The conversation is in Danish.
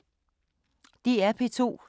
DR P2